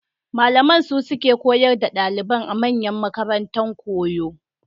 Malaman su suke koyar da ɗalibai a manyan makaranta koyo.